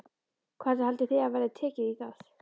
Hvernig haldið þið að verði tekið í það?